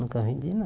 Nunca vendi,